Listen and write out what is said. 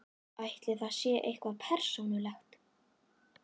Ætli þetta sé eitthvað persónulegt?